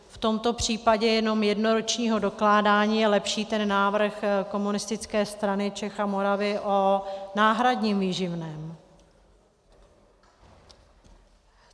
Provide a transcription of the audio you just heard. V tomto případě jenom jednoročního dokládání je lepší ten návrh Komunistické strany Čech a Moravy o náhradním výživném.